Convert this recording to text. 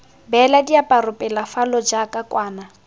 beela diaparo pelafalo jaaka kwana